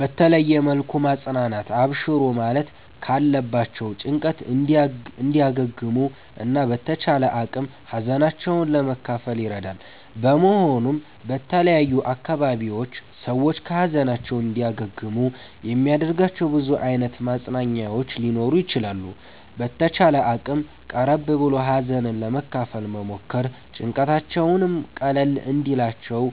በተለየ መልኩ ማፅናናት አብሽሩ ማለት ካለባቸዉ ጭንቀት እንዲያገግሙ እና በተቻለ አቅም ሀዘናቸዉን ለመካፈል ይረዳል በመሆኑም በተለያዩ አካባቢዎች ሰዎች ከ ሀዘናቸዉ እንዲያገግሙ የሚያደርጋቸዉ ብዙ አይነት ማፅናኛዎች ሊኖሩ ይችላሉ። በተቻለ አቅም ቀረብ ብሎ ሀዘንን ለመካፈል መሞከር ጭንቀታቸዉም ቀለል እንዲልላቸዉ